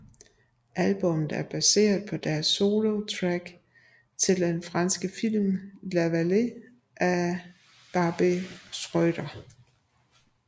Albummet er baseret på deres soundtrack til den franske film La Vallée af Barbet Schroeder